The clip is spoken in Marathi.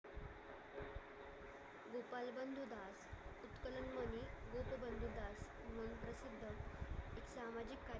सामाजिक कार्य